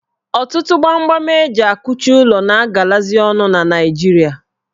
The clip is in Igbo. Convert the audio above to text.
Ọtụtụ gbamgbam eji akụchị ụlọ na agalazị ọnụ na Naijiria